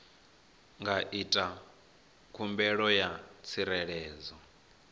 nga ita khumbelo ya tsireledzo